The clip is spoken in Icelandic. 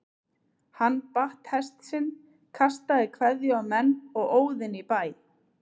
Hann batt hest sinn, kastaði kveðju á menn og óð inn í bæ.